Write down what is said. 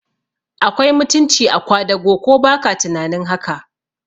Akwai mutunci a kwadago, ko baka tunanin haka?